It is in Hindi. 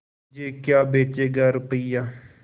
मुझे क्या बेचेगा रुपय्या